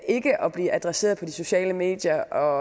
ikke at blive adresseret på de sociale medier